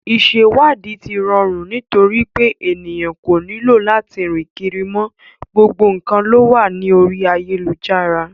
Ìsẹ̀wáàdí ti rọrù nitorípé ènìyàn kò nílò lati rìn kiri mọ, gbogbo nǹkan lówà ní orí ayélujára.